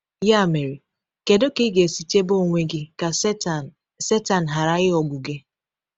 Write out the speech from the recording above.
Ya mere, kedu ka ị ga-esi chebe onwe gị ka Setan Setan ghara ịghọgbu gị?